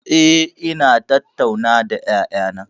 Eh, ina tattauna da ƴaƴana.